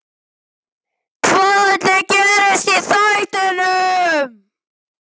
Hvað ætli gerist í þættinum?